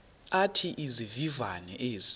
athi izivivane ezi